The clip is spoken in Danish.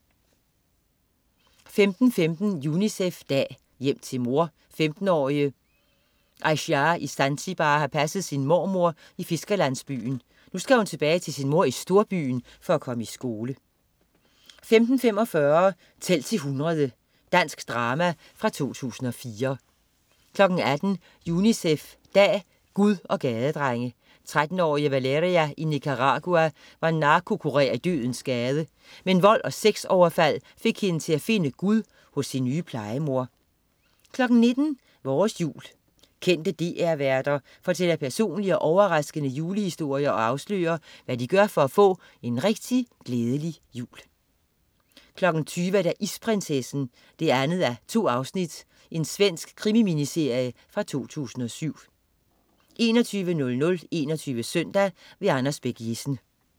15.15 UNICEF dag. Hjem til mor. 15-årige Aysiah i Zanzibar har passet sin mormor i fiskerlandsbyen. Nu skal hun tilbage til sin mor i storbyen for at komme i skole 15.45 Tæl til 100. Dansk drama fra 2004 18.00 UNICEF dag. Gud og gadedrenge. 13-årige Valeria i Nicaragua var narkokurer i Dødens gade. Men vold og sexoverfald fik hende til at finde Gud hos sin nye plejemor 19.00 Vores jul. Kendte DR-værter fortæller personlige og overraskende julehistorier og afslører, hvad de gør for at få en rigtig glædelig jul 20.00 Isprinsessen 2:2. Svensk krimi-miniserie fra 2007 21.00 21 Søndag. Anders Bech-Jessen